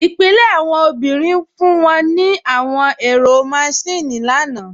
Ipilẹ̀ awọn obìnrin fún wọn ní àwọn ẹ̀rọ máṣìnnì lánà